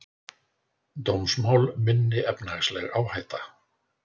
Dómsmál minni efnahagsleg áhætta